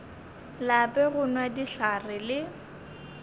lape go nwa dihlare le